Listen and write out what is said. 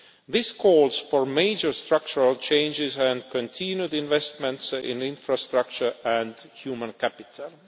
This calls for major structural changes and continued investments in infrastructure and human capital.